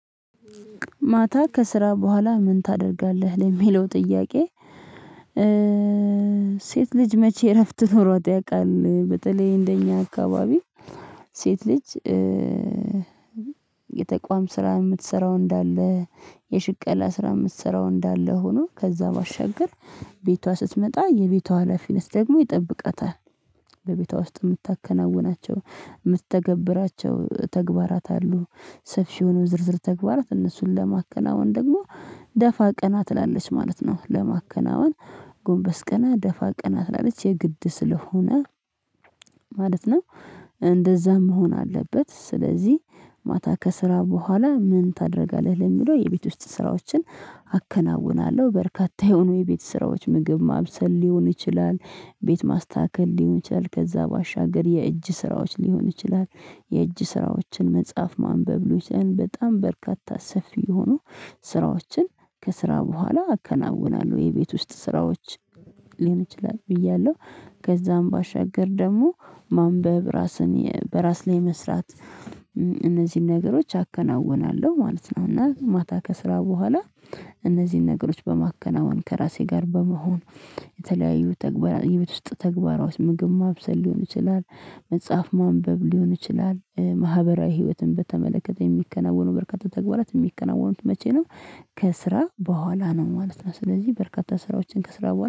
ማታ ከስራ በኋላ ምን ታደርጋለህ ለሚለው ጥያቄ? ሴት ልጅ መቼ እረፍት ኖሯት ያውቃል በተለይ እንደኛ አካባቢ። ሴት ልጅ የተቋም ስራ የምትሰራው እንዳለ የሽቅላ ስራ የምትሰራው እንዳለ ሆኖ ከዛ ባሻገር ቤቷ ስትመጣ የቤቷ ሀላፊነት ደግሞ ይጠብቃታል። በቤቷ ውስጥ የምታከናውናቸው የምትተገብራቸው ተግባራት አሉ። ሰፊውንም ዝርዝር ተግባራት እነሱን ለማከናወን ደግሞ ደፋ ቀና ትላለች ማለት ነው። ለማከናወን ጎንበስ ቀና ደፋ ቀና ትላለች የግድ ስለሆነ ማለት ነው። እንደዛም መሆን አለበት። ስለዚህ ማታ ከስራ በኋላ ምን ታደርጋለህ ለሚለው የቤት ውስጥ ስራዎችን። አከናውናለሁ በርካታ የሆኑ የቤት ስራዎች ምግብ ማብሰል ሊሆን ይችላል። ቤት ማስተካከል ሊሆን ይችላል ከዛ ባሻገር የእጅ ስራዎች ሊሆን ይችላል። የእጅ ስራዎችን መጽሐፍ ማንበብ ሊሆን በጣም በርካታ ሰፊ የሆኑ ስራዎችን ከስራ በኋላ አከናውናለሁ። የቤት ውስጥ ስራዎች ሊሆን ይችላል ብያለሁ። ከዛም ባሻገር ደግሞ ማንበብ ራስን በራስ ላይ መስራት እነዚህን ነገሮች አከናውናለሁ ማለት ነው። እና ማታ ከስራ በኋላ እነዚህን ነገሮች በማከናወን ከራሴ ጋር በመሆን የተለያዩ ተግባራት የቤት ውስጥ ተግባራዊ ምግብ ማብሰል ሊሆን ይችላል። መጽሐፍ ማንበብ ሊሆን ይችላል ማህበራዊ ህይወትን በተመለከተ የሚከናወኑ በርካታ ተግባራት የሚከናወኑት መቼ ነው? ከስራ በኋላ ነው ማለት ነው። ስለዚህ በርካታ ስራዎችን ከስራ በኋላ